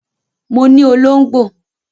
Mo ní olóngbò